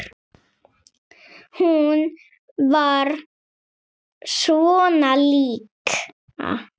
Hún var svona líka.